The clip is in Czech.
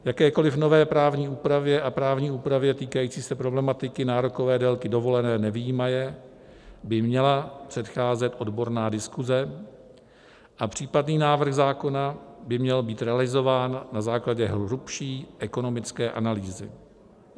Jakékoli nové právní úpravě a právní úpravě týkající se problematiky nárokové délky dovolené nevyjímaje by měla předcházet odborná diskuze a případný návrh zákona by měl být realizován na základě hlubší ekonomické analýzy."